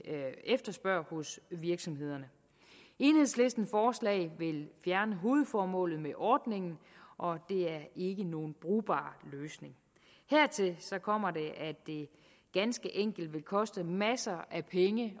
efterspørger hos virksomhederne enhedslistens forslag vil fjerne hovedformålet med ordningen og det er ikke nogen brugbar løsning hertil kommer at det ganske enkelt vil koste masser af penge